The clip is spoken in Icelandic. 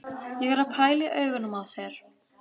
Ég er að pæla í augunum á þér.